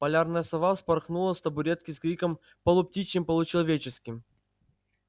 полярная сова вспорхнула с табуретки с криком полуптичьим-получеловеческим